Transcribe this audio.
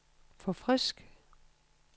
forfrisk